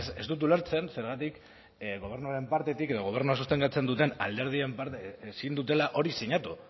ez dut ulertzen zergatik gobernuaren partetik edo gobernua sustengatzen duten alderdien parte ezin dutela hori sinatu